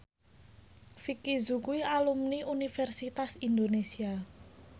Vicki Zao kuwi alumni Universitas Indonesia